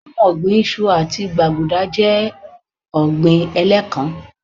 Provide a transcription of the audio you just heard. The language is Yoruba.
Óhun ọ̀gbìn iṣu àti gbaguda jẹ́ ọ̀gbín ẹ̀lẹ́kán